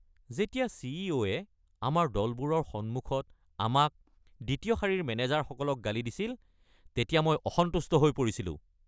যেতিয়া চিইও-য়ে আমাৰ দলবোৰৰ সন্মুখত আমাক, দ্বিতীয় শাৰীৰ মেনেজাৰসকলক গালি দিছিল তেতিয়া মই অসন্তুষ্ট হৈ পৰিছিলোঁ।